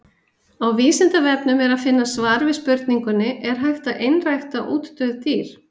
Á Vísindavefnum er að finna svar við spurningunni Er hægt að einrækta útdauð dýr?